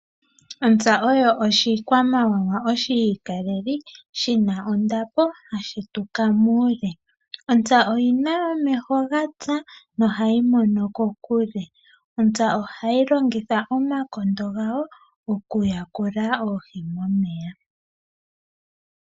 Ontsa oyo oshikwamawawa oshi ikaleli, hashi tuka muule. Ontsa oyi na omeho haga mono kokule. Ontsa ohayi longitha omakondo gawo okuyakula oohi momeya.